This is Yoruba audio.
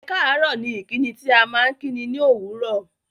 Ẹ̀káàárọ̀ ni ìkíni tí à maa n kíni ní òwúró